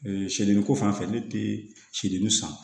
sedili ko fanfɛ ne teri san